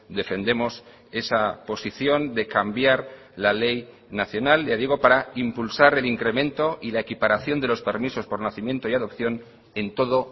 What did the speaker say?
defendemos esa posición de cambiar la ley nacional ya digo para impulsar el incremento y la equiparación de los permisos por nacimiento y adopción en todo